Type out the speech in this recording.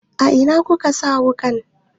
Ina kika sa wuƙan?